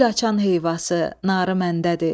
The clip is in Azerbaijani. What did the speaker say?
Gül açan heyvası, narı məndədir.